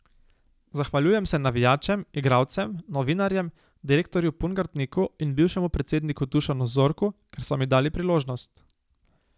Zahvaljujem se navijačem, igralcem, novinarjem, direktorju Pungartniku in bivšemu predsedniku Dušanu Zorku, ker so mi dali priložnost.